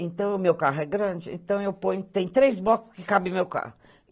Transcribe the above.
Então, o meu carro é grande, tem três box que cabem no meu carro.